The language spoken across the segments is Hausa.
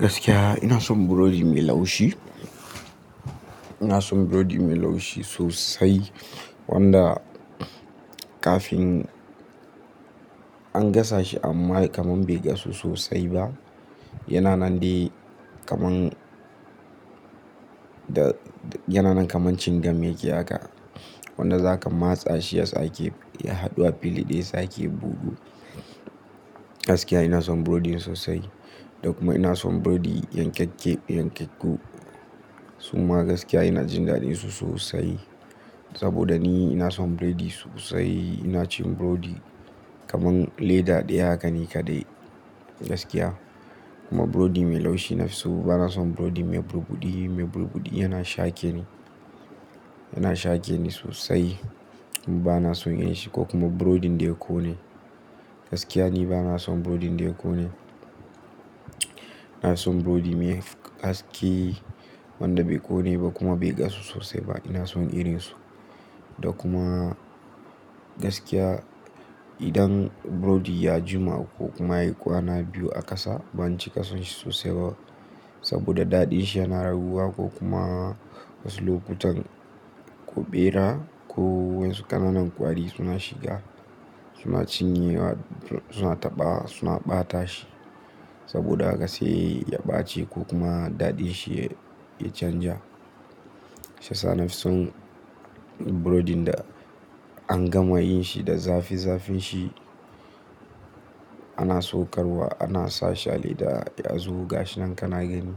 Gaskiya ina son burodi mai laushi. Ina son burodi mai laushi sosa, i wanda kafin, an gasa shi amma kamar bai gasu sosai ba. Yana nan dai kaman, da, yana nan kamar cin gam yake haka. Wanda zaka matsa shi ya sake, ya haɗu a fili daya ya sake bugu. Gaskiya ina son burodi sosai, da kuma ina son burodi yan kekke, yan kakku. Summa gaskiya ina jin daɗin su sosai. Saboda ni ina son birodi sosai. Ina cin burodi kamar leda daya haka nika dai gaskiya. Kuma burodi mai laushi nafi so bana son burodi mai burbuɗi, mai burbuɗi yana shake ni, yana shake ni sosai. Bana son yin shi ko kuma burodi da ya ƙone. Gaskiya ni bana son burodi da ya ƙone. Ina son burodi mai haske, wanda bai ƙone ba kuma bai gasu sosai ba. Ina son irin su. Da kuma, gaskiya idan burodi ya jima ko kuma yayi kwana biyu a ƙasa ban cika son shi sosai ba. Saboda daɗin shi yana raguwa ko kuma wasu lokutan, ko ɓera ko wasu ƙananan ƙwari suna shiga, suna cinyewa, suna taɓa suna ɓata shi. Saboda haka sai ya ɓaci ko kuma daɗin shi ya canja. Shi yasa nafi son burodin da an gama yin shi da zafi-zafin shi, ana saukarwa ana sa shi a leda yanzu gashi nan kana gani.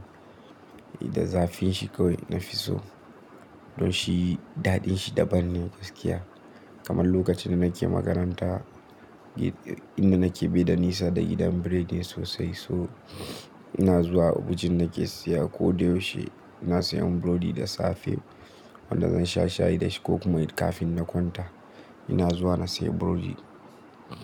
Da zafin shi kawai nafi so. Don shi daɗin shi daban ne gaskiya. Kamar lokacin da nake makaranta, inda nake bai da nisa da gidan biredin sosai so, ina zuwa abujan nake siya ko da yaushe ina siyan burodi da safe wanda zan sha shayi da shi ko kuma kafin na kwanta ina zuwa na sayi burodi.